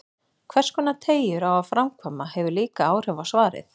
Hverskonar teygjur á að framkvæma, hefur líka áhrif á svarið.